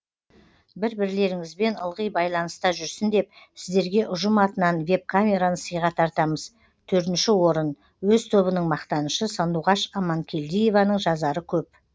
бір бірлеріңізбен ылғи байланыста жүрсін деп сіздерге ұжым атынан веб камераны сыйға тартамыз төртінші орын өз тобының мақтанышы сандуғаш аманкелдиеваның жазары көп